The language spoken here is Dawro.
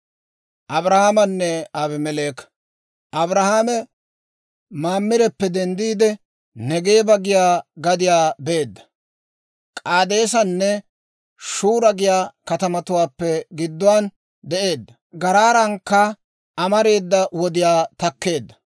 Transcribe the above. Abrahaame Mamireppe denddiide, Negeeba giyaa gadiyaa beedda; K'aadeesanne Shura giyaa katamatuwaappe gidduwaan de'eedda; Garaarankka amareeda wodiyaa takkeedda.